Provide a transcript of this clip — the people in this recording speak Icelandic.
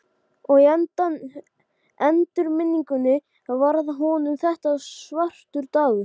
Þráhyggja er söm frá einni íbúð til annarrar.